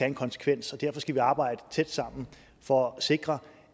en konsekvens derfor skal vi arbejde tæt sammen for at sikre